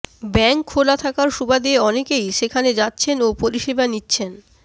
bank খোলা থাকার সুবাদে অনেকেই সেখানে যাচ্ছেন ও পরিষেবা নিচ্ছেন